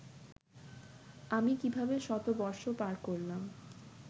আমি কীভাবে শতবর্ষ পার করলাম